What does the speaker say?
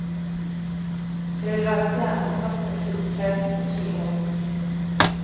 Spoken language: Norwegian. Det vil være stjernens første klubbopptreden på ti år.